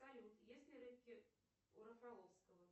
салют есть ли рыбки у рафаловского